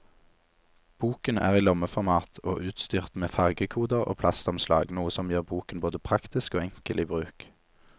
Boken er i lommeformat og utstyrt med fargekoder og plastomslag, noe som gjør boken både praktisk og enkel i bruk.